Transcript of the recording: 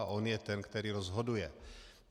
A on je ten, který rozhoduje.